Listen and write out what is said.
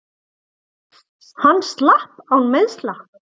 Hann slapp án meiðsla.